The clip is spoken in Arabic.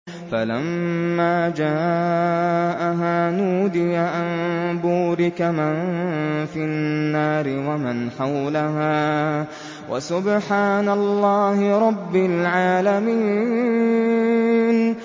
فَلَمَّا جَاءَهَا نُودِيَ أَن بُورِكَ مَن فِي النَّارِ وَمَنْ حَوْلَهَا وَسُبْحَانَ اللَّهِ رَبِّ الْعَالَمِينَ